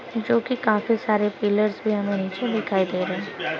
जोकि काफी सारे पिलर्स भी हमे नीचे दिखाई दे रहे हैं।